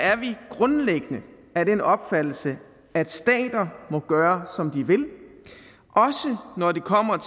er vi grundlæggende af den opfattelse at stater må gøre som de vil også når når det kommer